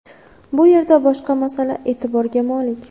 Bu yerda boshqa masala e’tiborga molik.